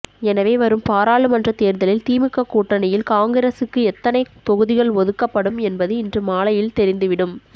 எனவே வரும் பாராளுமன்ற தேர்தலில் திமுக கூட்டணியில் காங்கிரசுக்கு எத்தனை தொகுதிகள் ஒதுக்கப்படும் என்பது இன்று மாலையில் தெரிந்து விடும்